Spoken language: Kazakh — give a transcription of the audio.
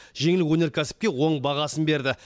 жеңіл өнеркәсіпке оң бағасын берді